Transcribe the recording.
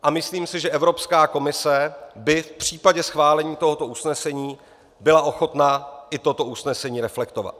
A myslím si, že Evropská komise by v případě schválení tohoto usnesení byla ochotna i toto usnesení reflektovat.